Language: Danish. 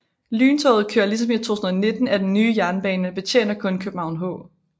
Lyntoget kører ligesom i 2019 ad den nye jernbane men betjener kun København H